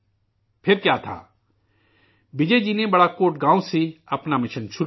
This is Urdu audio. پھر کیا تھا وجے جی نےبڑاکوٹ گاؤں سے اپنا مشن شروع کیا